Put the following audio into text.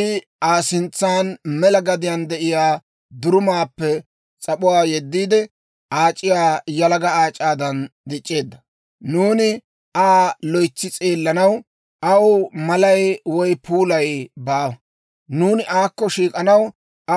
I Aa sintsan mela gadiyaan de'iyaa durumaappe s'ap'uwaa yeddiide, aac'iya yalaga aac'aadan dic'c'eedda. Nuuni Aa loytsi s'eellanaw, aw malay woy puulay baawa; nuuni aakko shiik'anaw